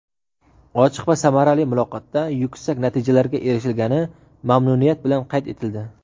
ochiq va samarali muloqotda yuksak natijalarga erishilgani mamnuniyat bilan qayd etildi.